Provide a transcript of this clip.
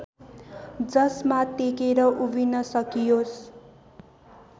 जसमा टेकेर् उभिन सकियोस